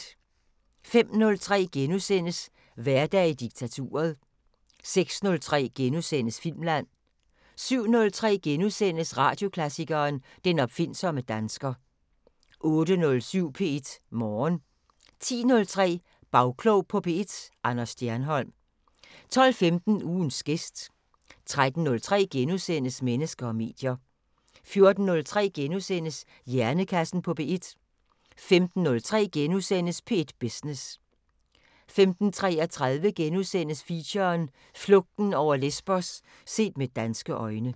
05:03: Hverdag i diktaturet * 06:03: Filmland * 07:03: Radioklassikeren: Den opfindsomme dansker * 08:07: P1 Morgen 10:03: Bagklog på P1: Anders Stjernholm 12:15: Ugens gæst 13:03: Mennesker og medier * 14:03: Hjernekassen på P1 * 15:03: P1 Business * 15:33: Feature: Flugten over Lesbos – set med danske øjne *